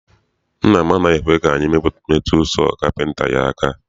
Nna m anaghị ekwe ka anyị metu sọọ kapịnta ya aka.